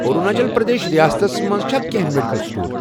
أروٗناچل پرٛدیش ریاستس مَنٛز چھا کینٛہہ میڈیکل سٹور؟